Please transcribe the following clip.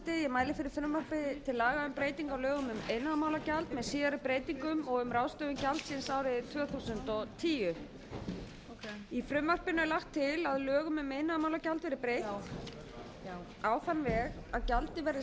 síðari breytingum og um ráðstöfun gjaldsins árið tvö þúsund og tíu í frumvarpinu er lagt til að lögum um iðnaðarmálagjald verði breytt á þann veg að gjaldið verði